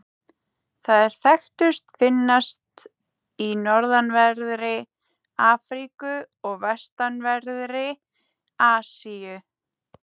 Þær þekktustu finnast í norðanverðri Afríku og vestanverðri Asíu.